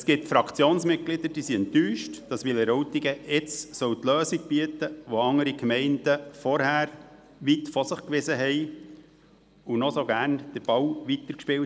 Es gibt Fraktionsmitglieder, die enttäuscht sind, dass Wileroltigen nun eine Lösung bieten soll, welche andere Gemeinden zuvor weit von sich wiesen und die den Ball noch so gerne weiterspielten.